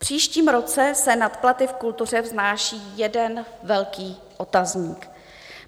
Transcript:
V příštím roce se nad platy v kultuře vznáší jeden velký otazník.